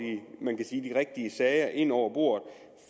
rigtige sager ind over bordet